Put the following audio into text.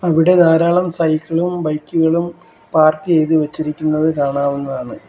ഇവിടെ ധാരാളം സൈക്കിളും ബൈക്കുകളും പാർക്ക് ചെയ്തു വച്ചിരിക്കുന്നത് കാണാവുന്നതാണ്.